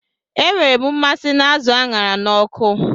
Enwere m mmasị na azụ a ṅara n'ọkụ